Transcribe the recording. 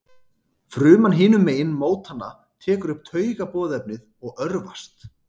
Fruman hinum megin mótanna tekur upp taugaboðefnið og örvast.